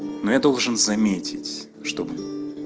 но я должен заметить чтобы